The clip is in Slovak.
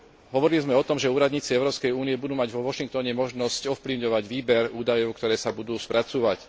Hovorili sme o tom, že úradníci Európskej únie budú mať vo Washingtone možnosť ovplyvňovať výber údajov, ktoré sa budú spracúvať.